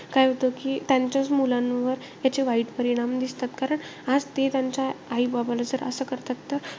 काय होतं कि, त्यांच्याच मुलांवर त्याचे वाईट परिणाम दिसतात. कारण, आज ते त्यांच्या आई-बाबाला असं करतात तर,